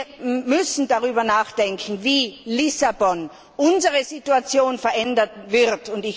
Wir müssen darüber nachdenken, wie Lissabon unsere Situation verändern wird.